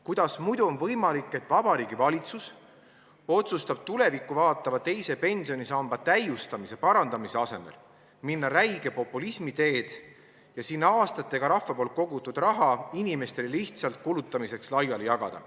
Kuidas muidu on võimalik, et Vabariigi Valitsus otsustab tulevikku vaatava teise pensionisamba täiustamise-parandamise asemel minna räige populismi teed ja rahva aastatega kogutud raha inimestele lihtsalt kulutamiseks laiali jagada.